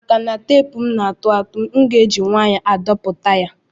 Maka na tepu na atụatu mu ga eji nwayo adpoputa ya.